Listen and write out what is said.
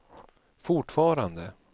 fortfarande